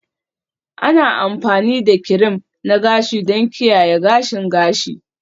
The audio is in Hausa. Ana amfani da kirim na gashi don kiyaye gashin gashi